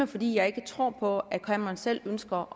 fordi jeg ikke tror på at cameron selv ønsker